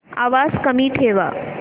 आवाज कमी ठेवा